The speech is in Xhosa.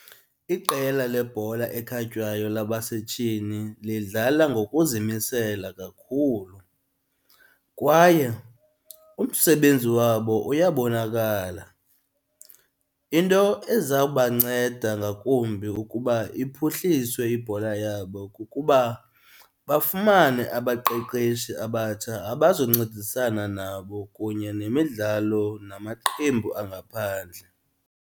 Iqela lebhola ekhatywayo labasetyhini lidlala ngokuzimisela kakhulu kwaye umsebenzi wabo uyabonakala. Into eza kubanceda ngakumbi ukuba iphuhliswe ibhola yabo kukuba bafumane abaqeqeshi abatsha abazoncedisana nabo kunye nemidlalo namaqembu angaphandle.